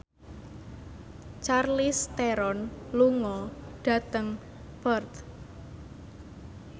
Charlize Theron lunga dhateng Perth